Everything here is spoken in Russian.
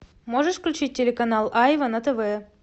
можешь включить телеканал айва на тв